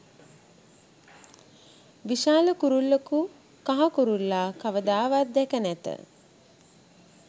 විශාල කුරුල්ලකු කහ කුරුල්ලා කවදාවත් දැක නැත.